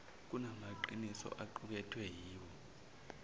kunamaqiniso aqukethwe yiwo